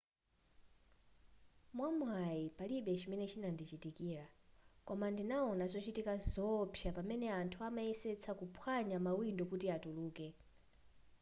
mwamwayi palibe chimene chinandichitikira koma ndinawona zochitika zoopsa pamene anthu amayesetsa kuphwanya mawindo kuti atuluke